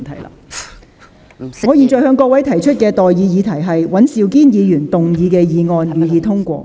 我現在向各位提出的待議議題是：尹兆堅議員動議的議案，予以通過。